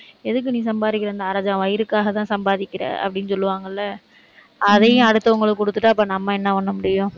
எதுக்கு நீ சம்பாதிக்கிற, இந்த அரைஜான் வயிறுக்காகதான் சம்பாதிக்கிற அப்படின்னு சொல்லுவாங்கள்ல, அதையும் அடுத்தவங்களுக்கு கொடுத்துட்டா அப்ப நம்ம என்ன பண்ண முடியும்?